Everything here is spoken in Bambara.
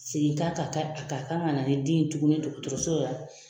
Segin k'a kan a ka kan ka na ni den in ye tuguni dɔgɔtɔrɔso .